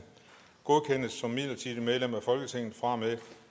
godkendes som midlertidigt medlem af folketinget fra og med